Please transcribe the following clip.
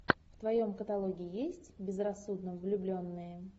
в твоем каталоге есть безрассудно влюбленные